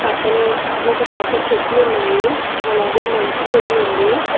పక్కనే ఒక పెద్ద చెట్లు ఉన్నాయి అలాగే మంచు కూడా ఉంది.